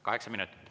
Kaheksa minutit.